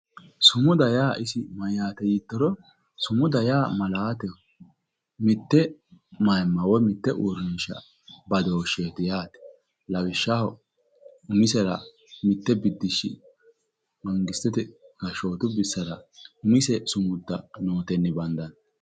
Sumuda yaa isi mayyaate yiittoro? Sumuda yaa malaateho, mitte maayiimma woyi mitte uurrinsha badooshsheeti yaate lawishshaho umisera mitte biddishshi mangistete gashshootu bissara umise sumudda nootenni bandanni.